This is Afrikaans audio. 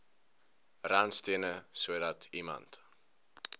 randstene sodat iemand